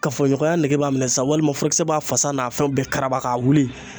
Kafo ɲɔgɔnya nege b'a minɛ sisan walima furakisɛ b'a fasa n'a fɛnw bɛɛ karaba ka wuli